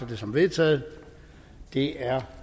det som vedtaget det er